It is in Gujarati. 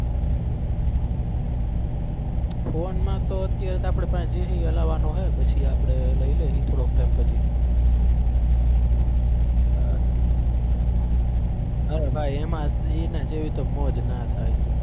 phone માં તો અત્યારે આપણે પાસે જે છે એ હલાવાનો છે પછી આપણે લઇ લેહી થોડોક time પછી અર અરે ભાઈ એમાં એના જેવી તો મોજ ના થાય.